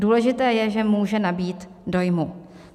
Důležité je, že může nabýt dojmu.